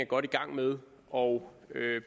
godt i gang med og